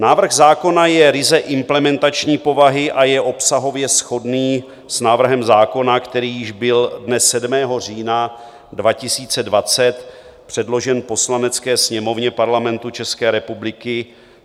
Návrh zákona je ryze implementační povahy a je obsahově shodný s návrhem zákona, který již byl dne 7. října 2020 předložen Poslanecké sněmovně Parlamentu České republiky.